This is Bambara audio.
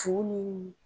Fu ni